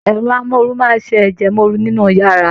Ẹrọ amoru máa ṣe ẹjẹwọn ooru nínú yàrá.